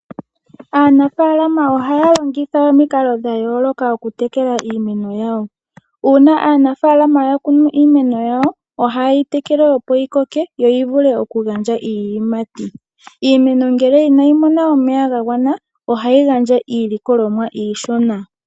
Aanafaalama ohaya longitha omikalo dha yooloka oku tekela iimeno yawo. Uuna aanafaalama ya kunu iimeno yawo, ohaye yi tekele opo yi koke, yo yi vule oku gandja iiyimati. Iimeno ngele inayi mona omeya ga gwana ohayi gandja iilikolomwa iishona.